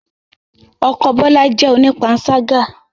Ọkọ Bola jẹ́ onipansaga